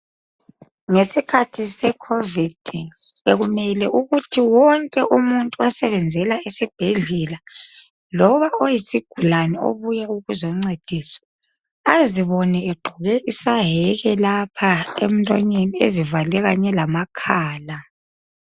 Ngesikhathi secovid bekumele ukuthi wonke umuntu osebenzela esibhedlela loba oyisigulan eobuye ukuzoncediswa azibone egqoke isaheke lapha emlonyeniivale kanye lamakhala